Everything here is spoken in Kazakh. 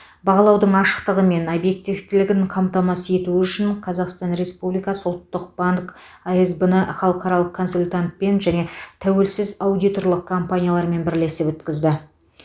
бағалаудың ашықтығы мен объективтілігін қамтамасыз ету үшін қазақстан республикасы ұлттық банк асб ны халықаралық консультантпен және тәуелсіз аудиторлық компаниялармен бірлесіп өткізді